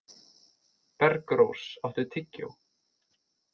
Bergrós, áttu tyggjó?